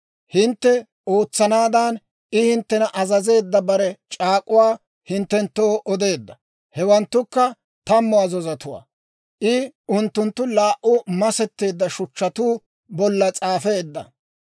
Hintte ootsanaadan I hinttena azazeedda bare c'aak'uwaa hinttenttoo odeedda; hewanttukka Tammu Azazotuwaa. I unttunttu laa"u masetteedda shuchchatuu bolla s'aafeedda.